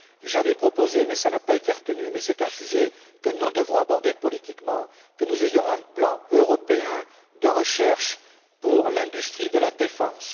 J'avais proposé cela n'a pas été retenu, mais c'est un sujet que nous devrons aborder sur le plan politique que nous ayons un plan européen de recherche pour l'industrie de la défense.